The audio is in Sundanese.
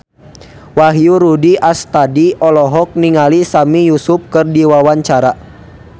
Wahyu Rudi Astadi olohok ningali Sami Yusuf keur diwawancara